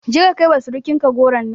Je ka kai wa surukin ka goron nan